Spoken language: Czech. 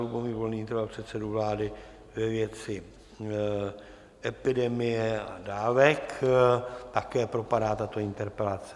Lubomír Volný interpeloval předsedu vlády ve věci epidemie a dávek - také propadá tato interpelace.